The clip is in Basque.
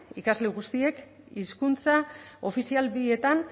ikasle guztiek hizkuntza ofizial bietan